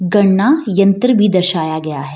गणना यंत्र भी दर्शाया गया है।